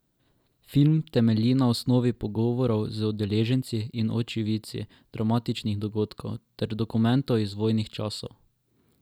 Film temelji na osnovi pogovorov z udeleženci in očividci dramatičnih dogodkov ter dokumentov iz vojnih časov.